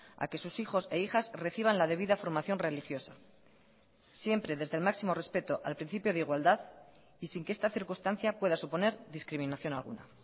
a que sus hijos e hijas reciban la debida formación religiosa siempre desde el máximo respeto al principio de igualdad y sin que esta circunstancia pueda suponer discriminación alguna